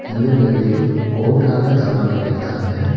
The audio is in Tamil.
அந்த பில்டிங் ஓட்டால கவர் பண்ணிருக்காங்க.